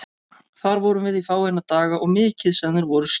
Þar vorum við í fáeina daga og mikið sem þeir voru skemmtilegir.